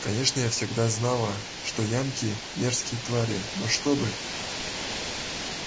конечно я всегда знала что янки мерзкие твари но чтобы